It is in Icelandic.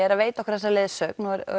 er að veita okkur þessa leiðsögn og er